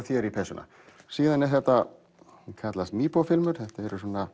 þér í peysuna síðan eru þetta sem kallast filmur þetta er